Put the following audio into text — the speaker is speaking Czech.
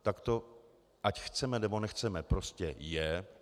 Tak to ať chceme, nebo nechceme, prostě je.